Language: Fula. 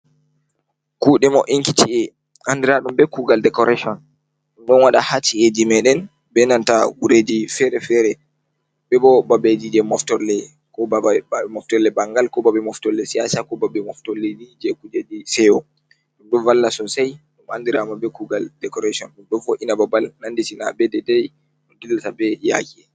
Kuuɗe mo''inki ci'e anndiraaɗum bee kuugal decoration ɗon waɗaa haa ci’eeji meeɗen bee nanta guureeji feere-feere bee boo babbeeji jey moftorle ɓanngal ko babe moftorle siyaasa koo babe moftorleeji jey kujeeji seyo. Ɗum ɗo valla soosai ɗum andiraama bee kuugal decoration ɗum ɗo vo''ina babal nanditina bee deedai no dillata bee yaaki.